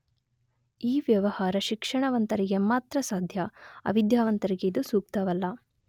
ಈ ವ್ಯವಹಾರ ಶಿಕ್ಷಣ ವಂತರಿಗೆ ಮಾತ್ರ ಸಾಧ್ಯ ಅವಿಧ್ಯಾವಂತರಿಗೆ ಇದು ಸೂಕ್ತವಲ್ಲ.